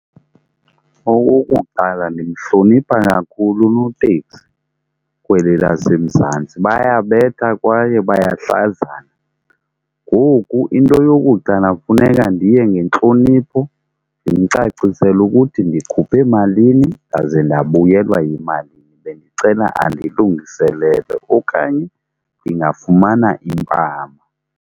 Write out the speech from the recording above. Okokuqala, ndimhlonipha kakhulu unoteksi kweli laseMzantsi bayabetha kwaye bayahlazana. Ngoku into yokuqala funeka ndiye ngentlonipho ndimcacisele ukuthi ndikhuphe malini ndaze ndabuyelwa yimalini, bendicela andilungiselele. Okanye ndingafumana impama.